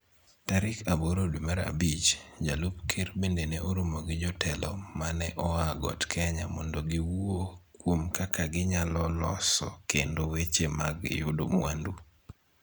Tarik aboro dwe mar abich, jalup ker bende ne oromo gi jotelo ma ne oa Got Kenya mondo giwuo kuom kaka ginyalo loso kendo weche mag yudo mwandu.